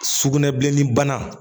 Sugunɛbilenni bana